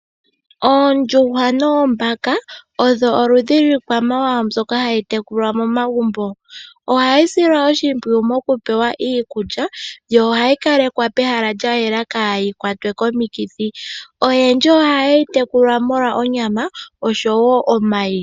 Oondjuhwa noombala oyoboludhi lwiikwamawawambyoka hayi tekulwa momagumbo, ohayi silwa oshimpwiya mokupewa iikulya, yo ohayi kalekwa pehala lya yela opo yaakwatye komikithi. Oyendji ohayeyi tekula molwa onyama nomayi.